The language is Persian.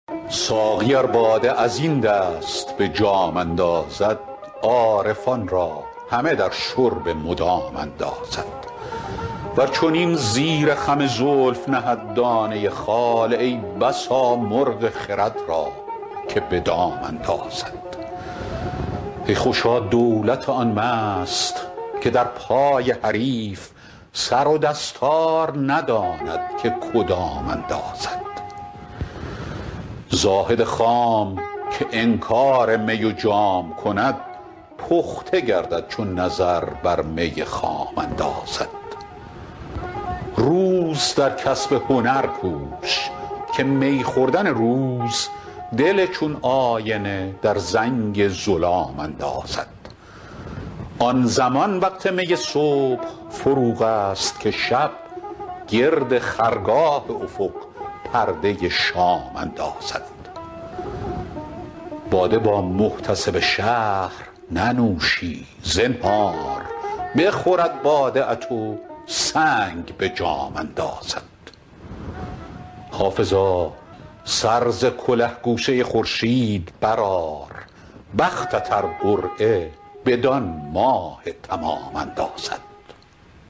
ساقی ار باده از این دست به جام اندازد عارفان را همه در شرب مدام اندازد ور چنین زیر خم زلف نهد دانه خال ای بسا مرغ خرد را که به دام اندازد ای خوشا دولت آن مست که در پای حریف سر و دستار نداند که کدام اندازد زاهد خام که انکار می و جام کند پخته گردد چو نظر بر می خام اندازد روز در کسب هنر کوش که می خوردن روز دل چون آینه در زنگ ظلام اندازد آن زمان وقت می صبح فروغ است که شب گرد خرگاه افق پرده شام اندازد باده با محتسب شهر ننوشی زنهار بخورد باده ات و سنگ به جام اندازد حافظا سر ز کله گوشه خورشید برآر بختت ار قرعه بدان ماه تمام اندازد